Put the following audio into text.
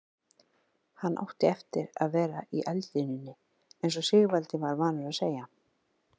Hann átti eftir að vera í eldlínunni eins og Sigvaldi var vanur að segja.